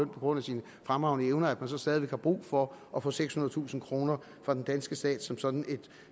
på grund af sine fremragende evner at man så stadig væk har brug for at få sekshundredetusind kroner fra den danske stat som sådan et